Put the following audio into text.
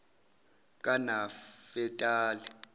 kanafetali